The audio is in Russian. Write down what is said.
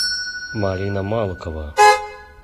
марина малкова